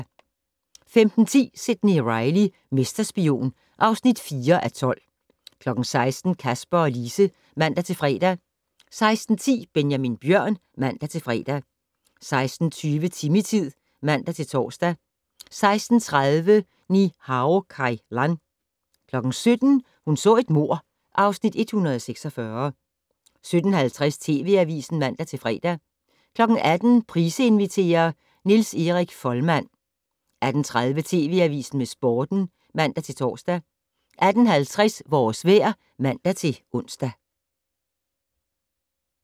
15:10: Sidney Reilly - mesterspion (4:12) 16:00: Kasper og Lise (man-fre) 16:10: Benjamin Bjørn (man-fre) 16:20: Timmy-tid (man-tor) 16:30: Ni-Hao Kai Lan 17:00: Hun så et mord (Afs. 146) 17:50: TV Avisen (man-fre) 18:00: Price inviterer - Niels Erik Folmann 18:30: TV Avisen med Sporten (man-tor) 18:50: Vores vejr (man-ons)